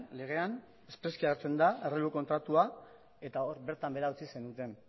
legean errelebo kontratua eta bertan behera utzi zenuten